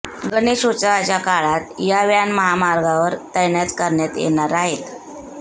गणेशोत्सवाच्या काळात या व्हॅन महामार्गावर तैनात करण्यात येणार आहेत